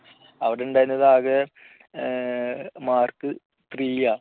അവിടെയുണ്ടായിരുന്നത് ആകെ mark three യാ